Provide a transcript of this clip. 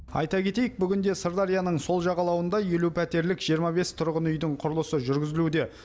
айта кетейік бүгінде сырдарияның сол жағалауында елу пәтерлік жиырма бес тұрғын үйдің құрылысы жүргізілуде